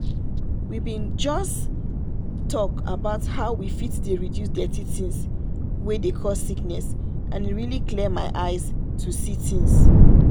we been just talk about how we fit dey reduce dirty things wey dey cause sickness and e really clear my eyes to see things.